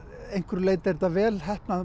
einhverju leyti er þetta vel heppnað